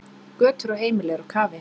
Götur og heimili eru á kafi